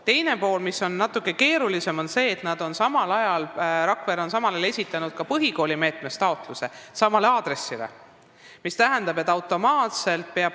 Teine pool, mis on natukene keerulisem, seisneb selles, et Rakvere on samal ajal esitanud ka põhikoolimeetme raames taotluse, et saada toetust samal aadressil asuva kooli jaoks.